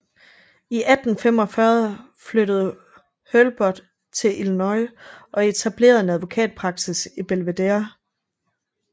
I 1845 flyttede Hurlbut til Illinois og etablerede en advokatpraksis i Belvedere